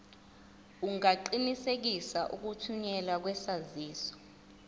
ungaqinisekisa ukuthunyelwa kwesaziso